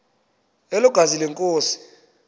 elo gazi lenkosi